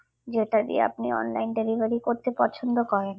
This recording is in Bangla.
যেটা দিয়ে আপনি online delivery করতে পছন্দ করেন